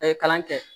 A ye kalan kɛ